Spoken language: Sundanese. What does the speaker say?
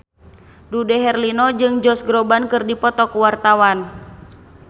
Dude Herlino jeung Josh Groban keur dipoto ku wartawan